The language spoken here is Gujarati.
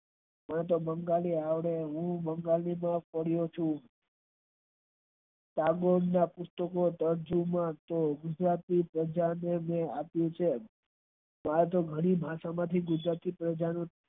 હું તો બંગાળી આવડે હું તો બંગાળી માં પડ્યો છું ગુજરાતી પંજાબ ને અપીયું છે આથી ભરતી માતા